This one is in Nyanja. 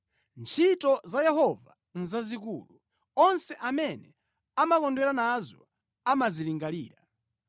Ntchito za Yehova nʼzazikulu; onse amene amakondwera nazo amazilingalira.